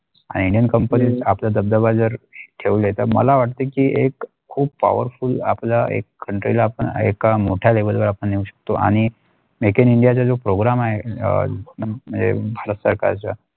आणि Indian company आपल्या दबदबा जर ठेवले तर मला वाटते इ एक खूप powerful आपल्या एक country लाआपण एका मोठ्या level वर आपण येऊ शकतो आणि Make in India जर जो program आहे अ म्णजे भारत सरकारच्या.